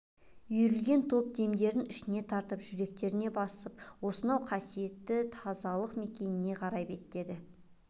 үйірілген топ демдерін ішіне тартып жүрексіне басып осынау қасиетті тазалық мекеніне қарай беттеді